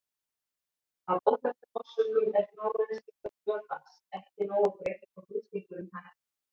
Af óþekktum orsökum er frárennsli augnvökvans ekki nógu greitt og þrýstingurinn hækkar.